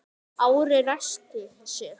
Ari ræskti sig.